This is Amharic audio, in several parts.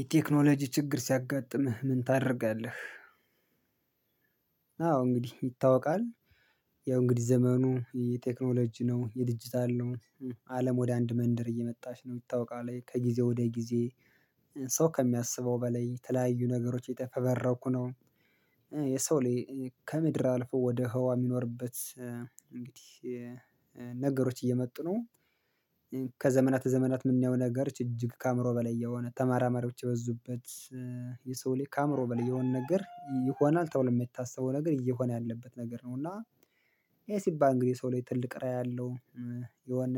የቴክኖሎጂ ችግር ሲያጋጥምህ ምን ታደርጋለህ? አዎ እንግዲህ ይታወቃል ያው እንግዲህ ዘመኑ የቴክኖሎጂ ነው የዲጂታል ነው አለም ወደ አንድ መንደር እየመጣሽ ነው ይታወቃል ከጊዜ ወደ ጊዜ ሰው ከሚያስበው በላይ ተለያዩ ነገሮች እተፈበረኩ ነው። የሰው ልጅ ከምድር አልፎ ወደ ህዋ የሚኖርበት እንግዲህ ነገሮች እየመጡ ነው። ከዘመናት ዘመናት የምናየው ነገሮች እጅግ ከአእምሮ በላይ የሆነ ተመራማሪዎች የበዙበት። የሰው ላይ ከአእምሮ በል የሆነ ነገር ይሆናል ተብሎ የሚታሰበው ነገር እየሆነ ያለበት ነገር ነው እና። ይሄ ሲባል እንግዲህ ሰው ላይ ትልቅ ራዕይ ያለው የሆነ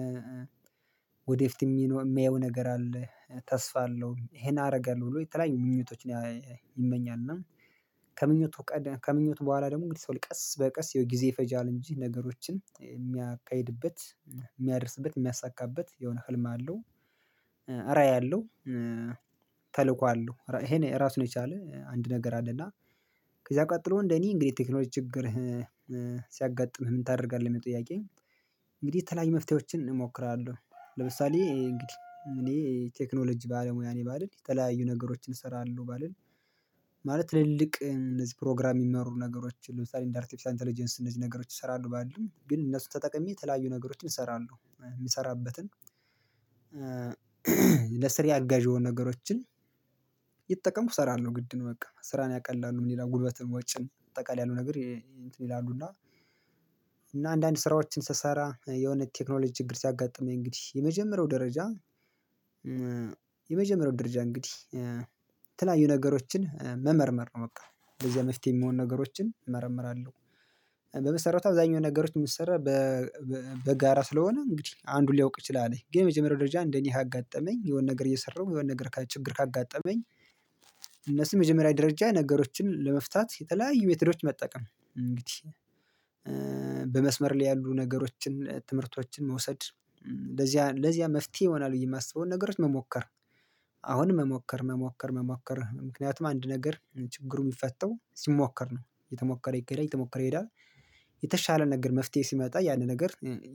ወደፊት የሚኖር የሚያየው ነገር አለ ተስፋ አለው ይሄን አደርጋለሁ ብሎ የተለያዩ ምኞቶችን ይመኛል። እና ከምኞቱ ቀደም ከምኞቱ በኋላ ደግሞ እንግዲህ ሰው ላይ ቀስ በቀስ ጊዜ ይፈጃል እንጂ ነገሮችን የሚያካሂድበት የሚያደርስበት የሚያሳካበት የሆነ ህልም አለው። እራይ አለው ተልእኮ አለው ይሄ ራሱን የቻለ አንድ ነገር አለ። እና ከዛ ቀጥሎ እንደኔ እንግዲህ ቴክኖሎጂ ችግር ሲያጋጥምህ ምን ታደርጋለህ ምል ጥያቄ? እንግዲህ ተለያይ መፍትሄዎችን እሞክራለሁ። ለምሳሌ እንግዲህ እኔ ቴክኖሎጂ ባለሙያ ነኝ ባልል የተለያዩ ነገሮችን እሰራለሁ ባልል ባልን ማለት ትልልቅ እነዚህ ፕሮግራም የሚመሩ ነገሮችን ለምሳሌ እንደ አርቲፊሻል ኢንተለጀንስ እነዚህ ነገሮች ይሰራሉ ባልም ግን እነሱ ተጠቅሜ የተለያዩ ነገሮችን እሰራለሁ የሚሰራበትን። ለስራዬ አጋዥ የሆኑ ነገሮችን እየተጠቀምኩ እሰራለሁ ግድ ነው በቃ ስራን ያቀላሉ ምን ይላሉ ጉልበትን ወጪን ባጠቃላይ ያሉ ነገር ይሄ እንትን ይላሉና። እና አንዳንድ ስራዎችን ስሰራ የሆነ ቴክኖሎጂ ችግር ሲያጋጥመኝ እንግዲህ የመጀመሪያው ደረጃ የመጀመሪያው ደረጃ እንግዲህ ተለያዩ ነገሮችን መመርመር ነው በቃ እንደዚህ በዚህ መፍትሄ የምሆን ነገሮችን እመረምራለሁ። በመሰረቱ አብዛኛው ነገሮች የምትሰራ በጋራ ስለሆነ እንግዲህ አንዱን ሊያውቅ ይችላል ግን የመጀመሪያው ደረጃ እንደኔ አጋጠመኝ የሆነ ነገር እየሰራሁ የሆነ ነገር ችግር ካጋጠመኝ። እነሱ መጀመሪያ ደረጃ ነገሮችን ለመፍታት የተለያዩ ሜትዶች መጠቀም እንግዲህ በመስመር ላይ ያሉ ነገሮችን ትምህርቶችን መውሰድ ለዚያ ለዚያ መፍትሄ ይሆናል ብዬ የማስበውን ነገሮች መሞከር። አሁንም መሞከር መሞከር መሞከር ምክንያቱም አንድ ነገር ችግሩ የሚፈተው ሲሞከር ነው የተሞከረ ይከረል የተሞከረ ይሄዳል። የተሻለ ነገር መፍትሄ ሲመጣ ያንን ነገር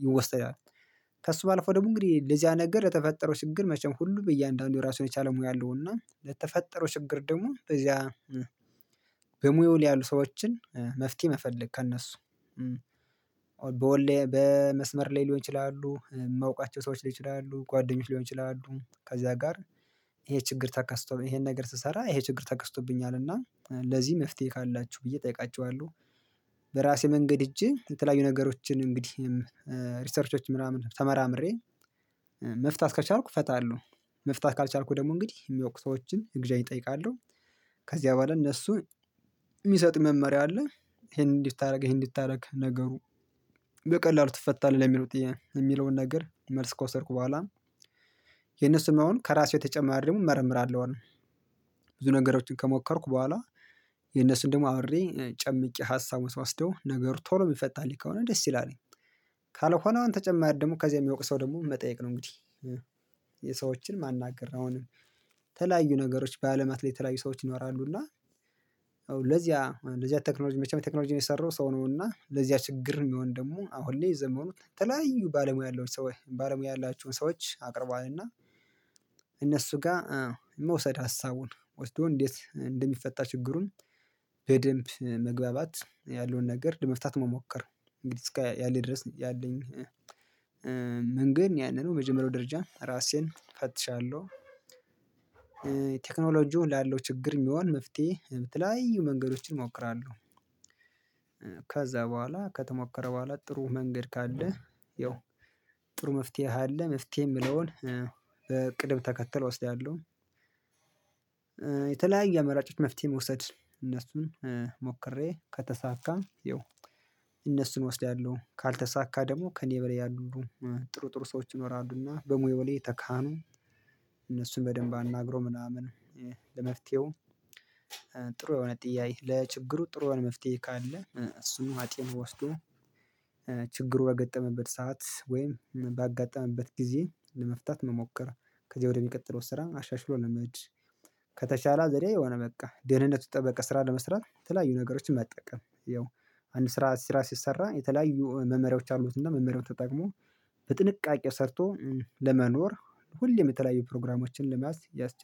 ይወስደዋል። ከእሱ ባለፈው ደግሞ እንግዲህ ለዚያ ነገር የተፈጠረው ጭግር መቼም ሁሉ በእያንዳንዱ ራሱን የቻለ ሙያ አለውና ለተፈጠረው ችግር ደግሞ በዚያ። በሙያው ያሉ ሰዎችን መፍትሄ መፈለግ ከእነሱ በወለያ በመስመር ላይ ሊሆን ይችላሉ መውቃቸው ሰዎች ሊይችላሉ ጓደኞች ሊሆን ይችላሉ ከዚያ ጋር። ይሄ ችግር ተከስቷል ይሄን ነገር ስሰራ ይሄ ችግር ተከስቶብኛል እና ለዚህ መፍትሄ ካላችሁ ብዬ እጠይቃችኋለሁ። በራሴ መንገድ ሄጄ የተለያዩ ነገሮችን እንግዲህ ሪሰርቾች ምናምን ተመራምሬ መፍታት ከቻልኩ ፈታለሁ። መፍታት ካልቻልኩ ደግሞ እንግዲህ የሚያውቁ ሰዎችን እገዛ እጠይቃለሁ። ከዚያ በኋላ እነሱ የሚሰጥ መመሪያ አለ ይሄንን እንድታደርግ ይሄንን እንድታደርግ ነገሩ በቀላሉ ትፈታለህ የሚሉት የሚለውን ነገር መልስ ካወሰድኩ በኋላ የነሱም መሆን ከራሱ የተጨማሪ ደግሞ እመርምራለሁ። አሁን ብዙ ነገሮችን ከሞከርኩ በኋላ የነሱን ደግሞ አውሬ ጨምቄ ሀሳብ ወስደው ነገር ቶሎ የሚፈታልኝ ከሆነ ደስ ይላል ነኝ። ካልሆነው ተጨማሪ ደግሞ ከዚህ የሚወቅሰው ደግሞ መጠየቅ ነው እንግዲህ። የሰዎችን ማናገር አሁንም ተለያዩ ነገሮች በአለም አትሌት የተለያዩ ሰዎች ይኖራሉና። ለዚያ ለዚያ ቴክኖሎጂ መቼም ቴክኖሎጂ የሰራው ሰው ነው እና ለዚያ ችግር የሚሆን ደግሞ አሁን እኔ የዘመኑት ተለያዩ ባለሙያ ያለው ሰው ባለሙያ ያላችሁን ሰዎች አቅርቧልና። እነሱ ጋር መውሰድ ሀሳቡን ወስዶ እንዴት እንደሚፈታ ችግሩን? በደንብ መግባባት ያለውን ነገር ለመፍታት መሞከር እንግዲህ ያለኝ ድረስ ያለኝ መንገድ ነው ያንን መጀመሪያው ደረጃ ራሴን ፈትሻለሁ። ቴክኖሎጂውን ላለው ችግር የሚሆን መፍትሄ በተለያዩ መንገዶችን እሞክራለሁ። ከዛ በኋላ ከተሞከረ በኋላ ጥሩ መንገድ ካለ ያው ጥሩ መፍትሄ አለ መፍትሄ የምለውን ቅድም ተከተል ወስዳለሁ። የተለያየ አመራጮች መፍትሄ መውሰድ እነሱን ሞክሬ ከተሳካም ይኸው እነሱን እወስዳለሁ ካልተሳካ ደግሞ ከኔ በላይ ያሉ ጥሩ ጥሩ ሰዎች ይኖራሉና በሙያው ላይ ተካኑ። እነሱን በደንብ አናግሮ ምናምን ለመፍትሄው ጥሩ የሆነ ጥያይ ለችግሩ ጥሩ የሆነ መፍትሄ ካለ እሱን አጤን ወስዶ። ችግሩ ባገጠመበት ሰዓት ወይም ባጋጠመበት ጊዜ ለመፍታት መሞከር። ከዚህ ወደሚቀጥለው ስራ አሻሽሎ ለመጅ ከተቻለ ዘዴ የሆነ በቃ ደህንነቱ ጠበቀ ስራ ለመስራት የተለያዩ ነገሮችን መጠቀም ያው። አንድ ስራ ስራ ሲሰራ የተለያዩ መመሪያዎች አሉትና መመሪያው ተጠቅሞ በጥንቃቄ ሰርቶ ለመኖር ሁሌም የተለያዩ ፕሮግራሞችን ለመያዝ ያስችላል